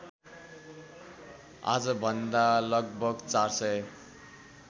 आजभन्दा लगभग ४००